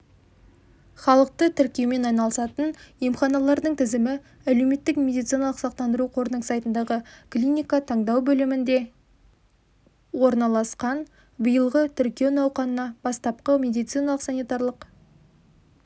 халықты тіркеумен айналысатын емханалардың тізімі әлеуметтік медициналық сақтандыру қорының сайтындағы клиника таңдау бөлімінде орналасқан биылғы тіркеу науқанына бастапқы медициналық-санитарлық